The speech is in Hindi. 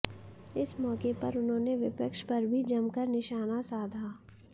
इस मौके पर उन्होंने विपक्ष पर भी जमकर निशाना साधा